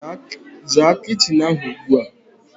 Zaa kitchin ahu ugbua